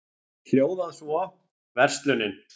hljóðað svo: Verslunin